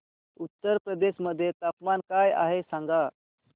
उत्तर प्रदेश मध्ये तापमान काय आहे सांगा